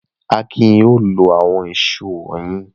Akin yóò lo àwọn ìṣó wọ̀nyí!